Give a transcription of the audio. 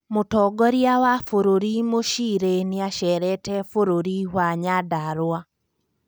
Mũtongoria wa bũrũri Mucirĩ niacerete bũrũri wa Nyandarua